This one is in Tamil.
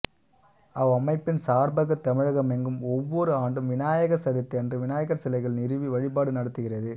அவ்வமைப்பின் சார்பாகத் தமிழகமெங்கும் ஒவ்வொரு ஆண்டும் விநாயக சதுர்த்தி அன்று விநாயகர் சிலைகள் நிறுவி வழிபாடு நடத்துகிறது